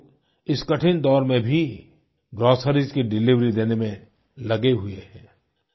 ये लोग इस कठिन दौर में भी ग्रोसरीज की डिलिवरी देने में लगे हुए हैं